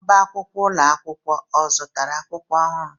Ọbá akwụkwọ ụlọ akwụkwọ ọ̀ zụtara akwụkwọ ọhụrụ?